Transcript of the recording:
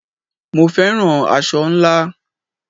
Mo féràn aṣọ ńlá.